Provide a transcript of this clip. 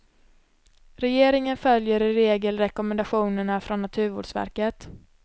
Regeringen följer i regel rekommendationerna från naturvårdsverket.